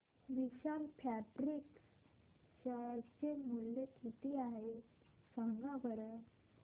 विशाल fabrics share चे मूल्य किती आहे सांगा बरं